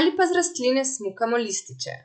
ali pa z rastline smukamo lističe.